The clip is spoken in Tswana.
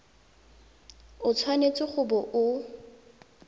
o tshwanetse go bo o